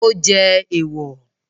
Ó jẹ́ èwọ̀